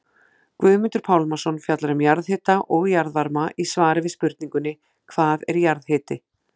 Guðmundur Pálmason fjallar um jarðhita og jarðvarma í svari við spurningunni Hvað er jarðhiti?